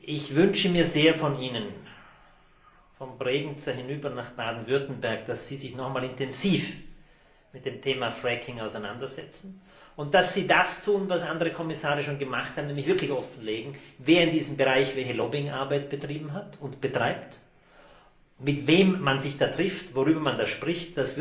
Ich wünsche mir sehr von Ihnen, von Bregenz hinüber nach Baden Württemberg, dass Sie sich noch einmal intensiv mit dem Thema Fracking auseinandersetzen, und dass Sie das tun, was andere Kommissare schon gemacht haben, nämlich wirklich offenzulegen, wer in diesem Bereich welche Lobbyarbeit betrieben hat und betreibt, mit wem man sich da trifft, worüber man da spricht.